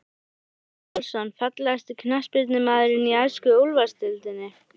Emil Pálsson Fallegasti knattspyrnumaðurinn í ensku úrvalsdeildinni?